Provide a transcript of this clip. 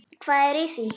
Hvað er í því?